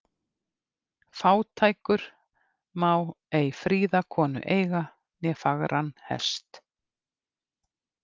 Fátækur má ei fríða konu eiga né fagran hest.